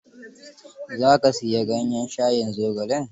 Za ka siyi ganyen shayin zogalen?